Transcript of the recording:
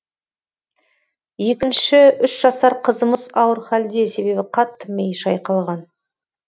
екінші үш жасар қызымыз ауыр халде себебі қатты миы шайқалған